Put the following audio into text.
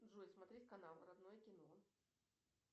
джой смотреть канал родное кино